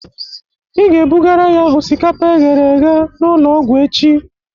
Ị ga-ebugara ya osikapa eghere eghe n'ụlọ ọgwụ echi